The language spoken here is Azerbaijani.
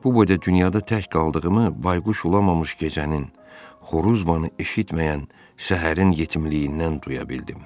Bu boyda dünyada tək qaldığımı bayquş ulamamış gecənin, xoruz banı eşitməyən səhərin yetimliyindən duya bildim.